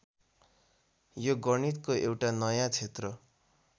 यो गणितको एउटा नयाँ क्षेत्र